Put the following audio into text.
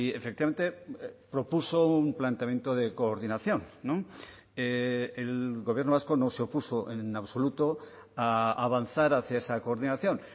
efectivamente propuso un planteamiento de coordinación el gobierno vasco no se opuso en absoluto a avanzar hacia esa coordinación